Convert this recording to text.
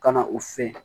Ka na u fɛ